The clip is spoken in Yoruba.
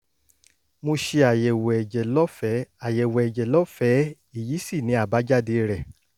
mo ṣe àyẹ̀wò ẹ̀jẹ̀ lọ́fẹ̀ẹ́ àyẹ̀wò ẹ̀jẹ̀ lọ́fẹ̀ẹ́ èyí sì ni àbájáde rẹ̀